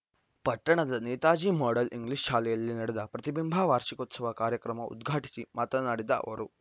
ಪಟ್ಟಣದ Netaji model English ಶಾಲೆಯಲ್ಲಿ ನಡೆದ ಪ್ರತಿಬಿಂಬ ವಾರ್ಷಿಕೋತ್ಸವ ಕಾರ್ಯಕ್ರಮ ಉದ್ಘಾಟಿಸಿ ಮಾತನಾಡಿದ ಅವರು